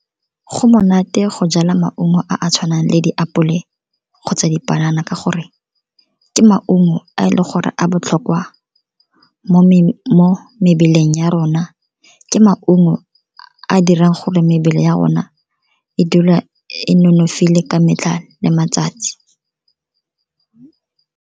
Go monate go jala maungo a a tshwanang le diapole kgotsa dipanana, ka gore ke maungo a e leng gore a botlhokwa mo mebeleng ya rona, ke maungo a dirang gore mebele ya rona e dula e nonofile ka metlha le matsatsi.